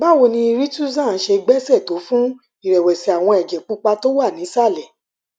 báwo ni rituxan ṣe gbéṣẹ tó fún ìrẹwẹsì àwọn ẹjẹ pupa tó wà nísàlẹ